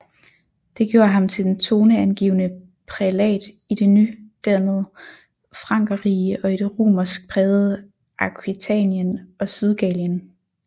Det gjorde ham til den toneangivende prælat i det nydannede Frankerrige og i det romersk prægede Aquitanien og Sydgallien